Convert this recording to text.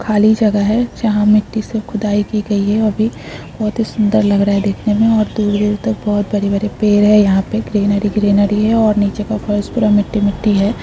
खाली जगह है जहां मिट्टी से खुदाई की गई है अभी बहुत ही सुंदर लग रही है देखने में और दूर दूर तक बहुत बड़े बड़े पेड़ है यहां पर ग्रीनरी ग्रीनरी और नीचे का फर्श पूरा मिट्टी मिट्टी है।